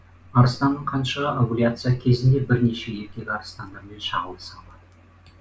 арыстанның қаншығы овуляция кезінде бірнеше еркек арыстандармен шағылыса алады